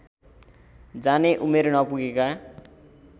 जाने उमेर नपुगेका